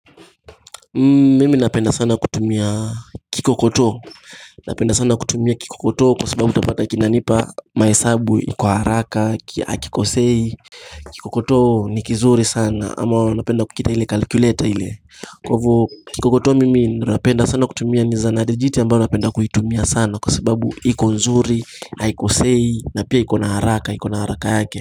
Mimi napenda sana kutumia kikokoto napenda sana kutumia kikokoto kwa sababu tapata kinanipa maesabu kwa haraka hakikosei kikokoto ni kizuri sana ama napenda kukita ile kalkuleta ile kwavo kikokoto mimi napenda sana kutumia nizanadijiti ambayo napenda kuitumia sana kwa sababu iko nzuri haikosei na pia ikona haraka ikona haraka yake.